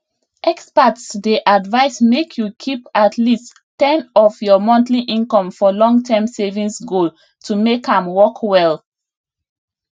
experts dey advise make you keep at least ten of your monthly income for longterm savings goals to make am work well